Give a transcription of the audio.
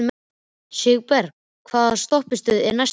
Sigurbergur, hvaða stoppistöð er næst mér?